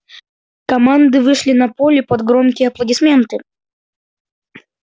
команды вышли на поле под громкие аплодисменты